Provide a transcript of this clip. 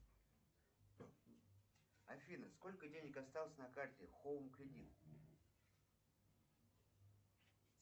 афина сколько денег осталось на карте хоум кредит